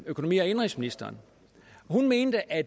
økonomi og indenrigsministeren hun mente at